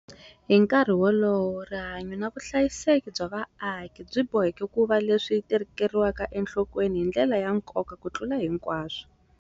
Hi nkarhi walowo, rihanyu na vuhlayiseki bya vaaki byi boheka ku va leswi tekeriwaka enhlokweni hi ndlela ya nkoka kutlula hinkwaswo.